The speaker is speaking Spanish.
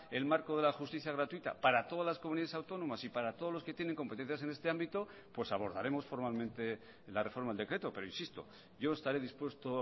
el marco de la justicia gratuita para todas las comunidades autónomas y para todos los que tienen competencias en este ámbito pues abordaremos formalmente la reforma del decreto pero insisto yo estaré dispuesto